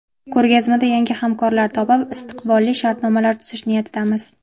Ko‘rgazmada yangi hamkorlar topib, istiqbolli shartnomalar tuzish niyatidamiz.